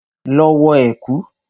Lọ wọ ẹ̀kú!